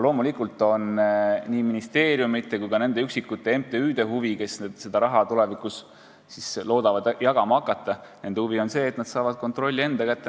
Loomulikult on nii ministeeriumide kui nende üksikute MTÜ-de huvi, kes seda raha tulevikus loodavad jagama hakata, see, et nad saavad kontrolli enda kätte.